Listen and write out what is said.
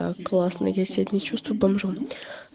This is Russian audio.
да классно я сегодня чувствую бомжом